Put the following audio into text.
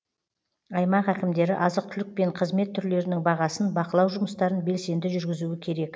аймақ әкімдері азық түлік пен қызмет түрлерінің бағасын бақылау жұмыстарын белсенді жүргізуі керек